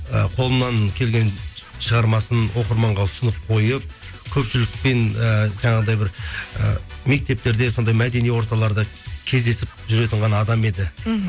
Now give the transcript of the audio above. і қолынан келген шығармасын оқырманға ұсынып қойып көпшілікпен і жаңағыдай бір і мектептерде сондай бір мәдени орталарда кездесіп жүретін ғана адам еді мхм